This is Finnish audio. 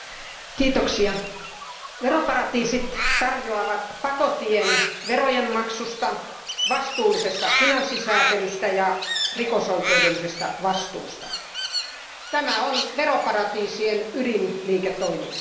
Arvoisa puhemies, veroparatiisit tarjoavat pakotien verojen maksusta, vastuullisesta finanssisäätelystä ja rikosoikeudellisesta vastuusta. Tämä on veroparatiisien ydinliiketoimintaa.